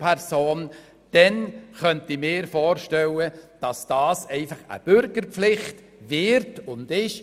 Ich könnte mir vorstellen, dass dies einfach eine Bürgerpflicht wird und ist.